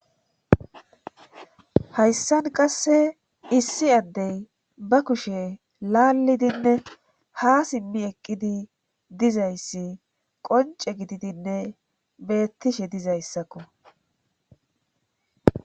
hayssan qasse issi addey ba kushe laalidinne ha simmi eqqidi dizayssi qonce gididinne beettishe dizayssakko